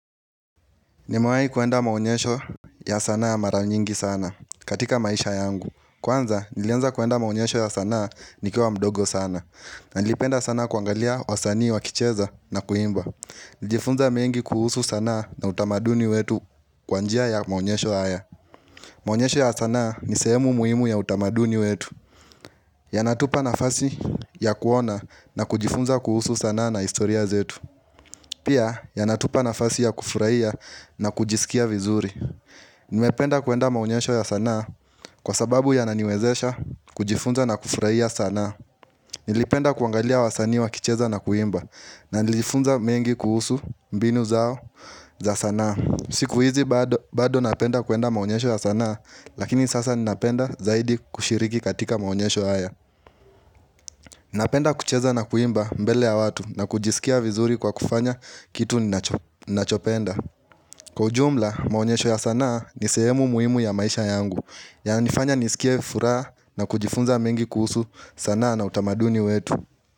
Nimewahi kwenda maonyesho ya sanaa mara nyingi sana katika maisha yangu. Kwanza, nilianza kwenda maonyesho ya sanaa nikiwa mdogo sana. Na nilipenda sana kuangalia wasanii wakicheza na kuimba. Nilijifunza mengi kuhusu sanaa na utamaduni wetu kwa njia ya maonyesho haya. Maonyesho ya sanaa ni sehemu muhimu ya utamaduni wetu. Yanatupa nafasi ya kuona na kujifunza kuhusu sanaa na historia zetu. Pia, yanatupa nafasi ya kufurahia na kujisikia vizuri. Nimependa kwenda maonyesho ya sanaa kwa sababu yananiwezesha kujifunza na kufurahia sanaa. Nilipenda kuangalia wasanii wakicheza na kuimba na nilifunza mengi kuhusu mbinu zao za sanaa. Siku hizi bado napenda kwenda maonyesho ya sanaa lakini sasa ninapenda zaidi kushiriki katika maonyesho haya. Ninapenda kucheza na kuimba mbele ya watu na kujisikia vizuri kwa kufanya kitu ninachopenda. Kwa jumla, maonyesho ya sanaa ni sehemu muhimu ya maisha yangu yananifanya nisikie furaha na kujifunza mengi kuhusu sanaa na utamaduni wetu.